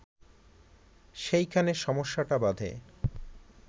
সেইখানে সমস্যাটা বাধে